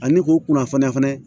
Ani k'o kunnafoniya fɛnɛ